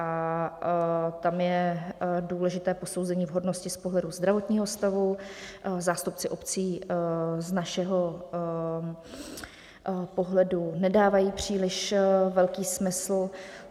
A tam je důležité posouzení vhodnosti z pohledu zdravotního stavu, zástupci obcí z našeho pohledu nedávají příliš velký smysl.